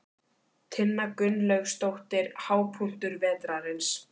Tinna Gunnlaugsdóttir: Hápunktur vetrarins?